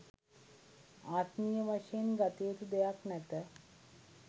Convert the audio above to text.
ආත්මීය වශයෙන් ගත යුතු දෙයක් නැත